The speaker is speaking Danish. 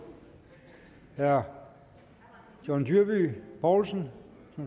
herre john dyrby paulsen